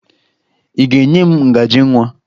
Ị ga-enye m ngaji nwa?